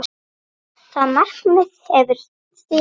Það markmið hefur þegar náðst.